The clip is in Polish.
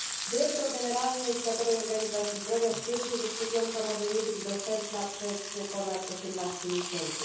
Dyrektor generalny Światowej Organizacji Zdrowia stwierdził, że szczepionka może nie być dostępna przez ponad 18 miesięcy.